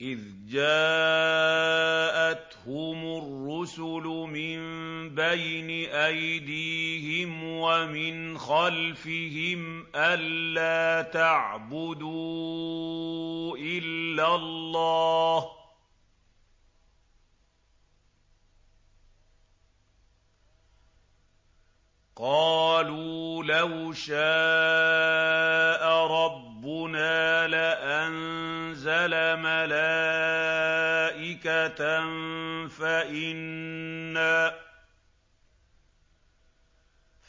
إِذْ جَاءَتْهُمُ الرُّسُلُ مِن بَيْنِ أَيْدِيهِمْ وَمِنْ خَلْفِهِمْ أَلَّا تَعْبُدُوا إِلَّا اللَّهَ ۖ قَالُوا لَوْ شَاءَ رَبُّنَا لَأَنزَلَ مَلَائِكَةً